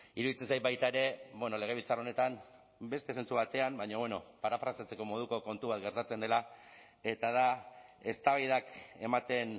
iruditzen zait baita ere legebiltzar honetan beste zentzu batean baina bueno parafraseatzeko moduko kontu bat gertatzen dela eta da eztabaidak ematen